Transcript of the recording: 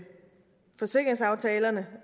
forsikringsaftalerne